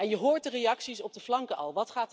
En je hoort de reacties op de flanken al.